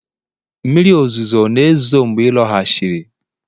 mmiri ozuzo ọ̀ na-ezo mgbe ị lọghachiri?